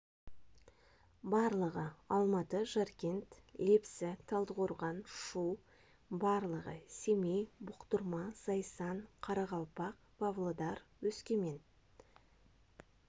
барлығы алматы жаркент лепсі талдықорған шу барлығы семей бұқтырма зайсан қарақалпақ павлодар өскемен